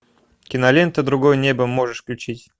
кинолента другое небо можешь включить